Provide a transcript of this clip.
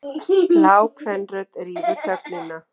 Lág kvenrödd rýfur þögnina.